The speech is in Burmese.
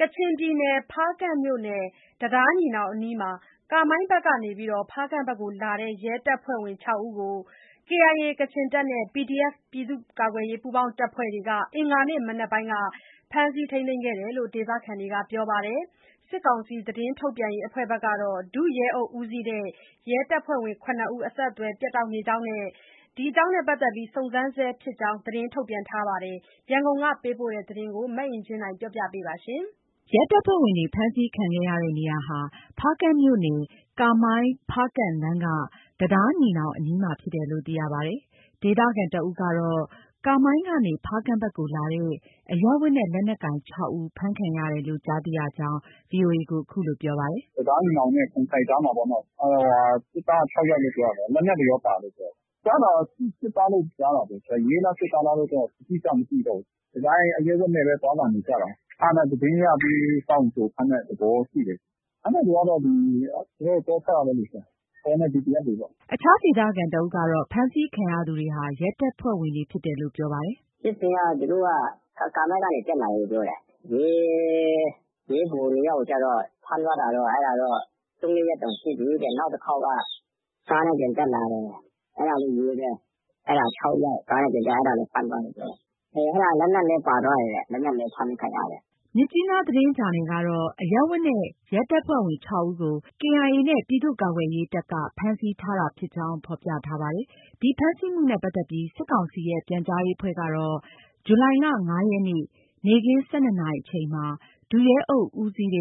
ကချင်ပြည်နယ် ဖားကန့်မြို့နယ် တံတားညီနောင်အနီးမှာ ကာမိုင်းဘက်ကနေလာတဲ့ ရဲတပ်ဖွဲ့ဝင် ၆ဦးကို KIA နဲ့ PDF ပူးပေါင်းတပ်ဖွဲ့တွေက အင်္ဂါနေ့ မနက်က ဖမ်းဆီးခဲ့ကြောင်း ဒေသခံတွေက ပြောပါတယ်။ စစ်ကောင်စီ သတင်းထုတ်ပြန်ရေးအဖွဲ့ကတော့ ဒုရဲအုပ်ဦးစီးတဲ့ ရဲတပ်ဖွဲ့ဝင် ၇ ဦး အဆက်အသွယ်ပြတ်တောက်နေကြောင်း နဲ့ စုံစမ်းဆဲ ဖြစ်ကြောင်း သတင်းထုတ်ပြန်ထား ပါတယ်။ ရန်ကုန်ကပေးပို့တဲ့ ဒီသတင်းကို အင်ကြင်းနိုင်ပြောပြပါမယ်။ ရဲတပ်ဖွဲ့ဝင်တွေ ဖမ်းဆီးခံခဲ့ရတဲ့နေရာဟာ ဖားကန့်မြို့နယ် ကာမိုင်း- ဖားကန့်လမ်းက တံတားညီနောင်အနီးမှာ ဖြစ်တယ်လို့သိရပါတယ်။ ဒေသခံတဦးကတော့ ကာမိုင်းကနေ ဖားကန့်ဘက်ကိုလာတဲ့ အရပ်ဝတ်နဲ့ လက်နက်ကိုင် ၆ဦးဖမ်းခံရတယ်လို့ ကြားသိရကြောင်း VOA ကို အခုလို ပြောပါတယ်။ “ တံတားညီနောင်နဲ့ ကွမ်အိုင်ကြားမှာပေါ့နော။ စစ်သားက ၆ယောက်လို့ ပြောတာပဲ။ လက်နက်တွေရော ပါတယ်လို့ ပြောတယ်။ ကြားတာက စစ်သားလို့ ကြားတာပဲ။ ရဲလား စစ်သားလားတော့ အတိအကျ မသိတော့ဘူး။ ဒီတိုင်း အရပ်ဝတ်နဲ့ပဲ သွားလာနေကြတာ။ အဲဒါနဲ့ သတင်းရပြီး စောင့်ကြိုဖမ်းတဲ့သဘောရှိတယ်။ အဲဒါတွေကတော့ သူတို့ တောဘက်ကလေ ဆရာ။ တောနဲ့ PDF တွေပေါ့။ ” အခြားဒေသခံတစ်ဦးကတော့ ဖမ်းဆီးခံရသူတွေဟာ ရဲတပ်ဖွဲ့ဝင်တွေဖြစ်တယ်လို့ ပြောပါတယ်။ “ဖြစ်စဉ်က သူတို့က ကာမိုင်းကနေ တက်လာတယ်လို့ ပြောတယ်။ ရဲ၊ ရဲဗိုလ် ၂ယောက်ကို ကျတော့ ဖမ်းသွားတာတော့ ၃ - ၄ရက်တောင်ရှိပြီတဲ့။ နောက်တစ်ခေါက်က ကားနဲ့ ပြန်တက်လာတယ်။ အဲဒါလည်း ရဲပဲ။ အဲဒါ ၆ယောက်။ ကားနဲ့ ပြန်တက်လာတယ်။ အဲဒါလည်း ဖမ်းသွားတယ်ပြောတယ်။ အဲဒါ လက်နက်လည်း ပါသွားတယ်တဲ့။ လက်နက်လည်း ဖမ်းခံရတယ်။” မြစ်ကြီးနားသတင်းဂျာနယ်ကတော့ အရပ်ဝတ်နဲ့ ရဲတပ်ဖွဲ့ဝင် ၆ဦးကို KIA နဲ့ ပြည်သူ့ ကာကွယ်တပ်က ဖမ်းဆီးတာဖြစ်ကြောင်း ဖော်ပြထားပါတယ်။ ဒီဖမ်းဆီးမှုနဲ့ပတ်သက်ပြီး စစ်ကောင်စီရဲ့ ပြန်ကြားရေးအဖွဲ့ကတော့ ဇူလိုင်လ ၅ရက်နေ့ နေ့ခင်း ၁၂နာရီအချိန်မှာ ဒုရဲအုပ်ဦးစီး ၇